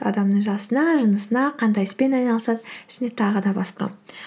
адамның жасына жынысына қандай іспен айналысады және тағы да басқа